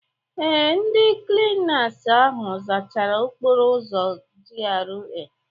Ee, ndị klinas ahụ zachara okporo ụzọ GRA.